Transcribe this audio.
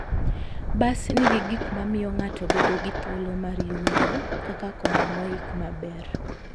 Bas nigi gik ma miyo ng'ato bedo gi thuolo mar yueyo, kaka kombe moik maber.